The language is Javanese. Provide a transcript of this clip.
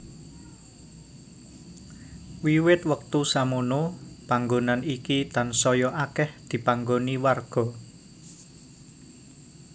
Wiwit wektu samono panggonan iki tansaya akèh dipanggoni warga